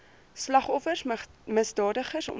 slagoffers misdadigers ontvlug